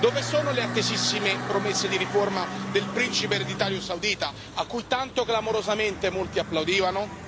Dove sono le attesissime promesse di riforma del principe ereditario saudita, a cui tanto clamorosamente molti applaudivano?